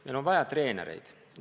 Meil on vaja treenereid.